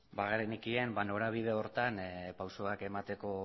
bagenekien norabide horretan pausuak emateko